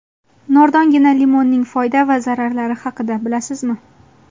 Nordongina limonning foyda va zararlari haqida bilasizmi?.